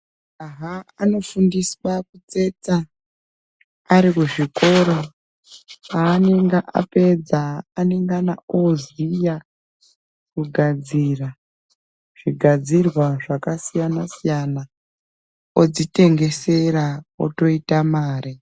Majaha anofundiswa kutsetsa arikuzvikoro. Paanenge apedza anengana oziya kugadzira zvigadzirwa zvakasiyana siyana ,odzitengesera otoite mare.